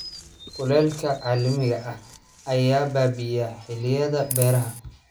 Kulaylka caalamiga ah ayaa baabi'inaya xilliyada beeraha.